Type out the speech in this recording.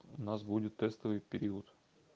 у нас будет тестовый период